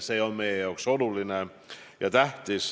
See on meie jaoks oluline.